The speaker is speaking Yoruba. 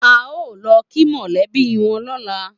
A o lo ki mọlẹ bí wọn lọla